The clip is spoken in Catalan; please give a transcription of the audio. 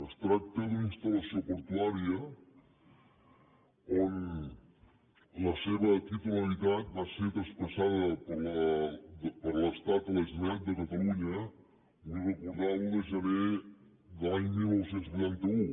es tracta d’una instal·lació portuària la titularitat de la qual va ser traspassada per l’estat a la generalitat de catalunya ho vull recordar l’un de gener de l’any dinou vuitanta u